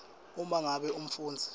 uma ngabe umfundzi